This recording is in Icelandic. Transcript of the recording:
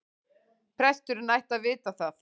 Presturinn ætti að vita það.